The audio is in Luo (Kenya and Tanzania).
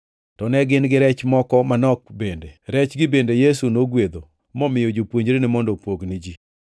To ne gin gi rech moko manok bende. Rechgi bende Yesu nogwedho momiyo jopuonjrene mondo opog ni ji.